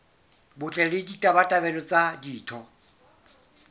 botle le ditabatabelo tsa ditho